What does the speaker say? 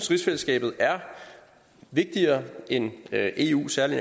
rigsfællesskabet er vigtigere end eu særlig